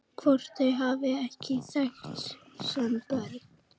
Hvort þau hafi ekki þekkst sem börn?